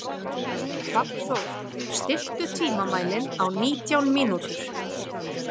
Hrafnþór, stilltu tímamælinn á nítján mínútur.